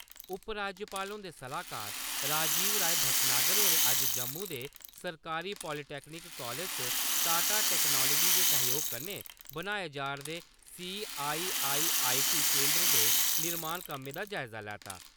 उप-राज्यपाल हुंदे सलाह्कार राजीव राय भटनागर होरें अज्ज जम्मू दे सरकारी पालीटैक्निक कालेज च टाटा टैक्नोलिज दे सैह्जोग कन्नै बनाए जा 'रदे सी.आई.आई.आई.टी केन्द्र दे निर्माण कम्मे दा जायज़ा लैता।